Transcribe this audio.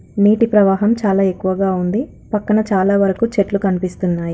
నీటి ప్రవాహం చాలు ఎక్కువగా ఉంది. పక్కన చాలా వరకు చెట్లు కనిపిస్తున్నాయి.